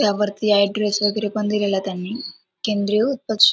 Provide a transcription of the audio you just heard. त्यावरती ऍड्रेस वगैरे पण दिलेला आहे. त्यांनी केंद्रीय उत्पक्षी--